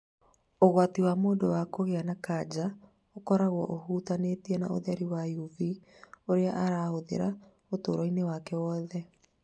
Ũgwati wa mũndũ wa kũgĩa na kansa ũkoragwo ũhutanĩtie na ũtheri wa UV ũrĩa ahũthagĩra ũtũũro wake wothe.